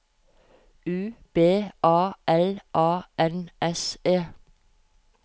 U B A L A N S E